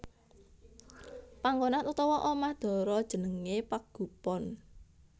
Panggonan utawa omah dara jenengé Pagupon